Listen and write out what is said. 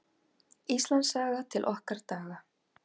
Íslandssaga: til okkar daga.